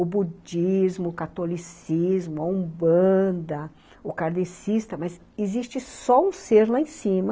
O budismo, o catolicismo, a umbanda, o kardecista, mas existe só um ser lá em cima